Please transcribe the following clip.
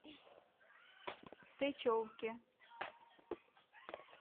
сычевке